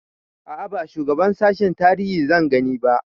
A'a ba shugaban sashen tarihi zanje gani ba